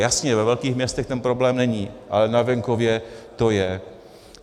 Jasně, ve velkých městech ten problém není, ale na venkově to je.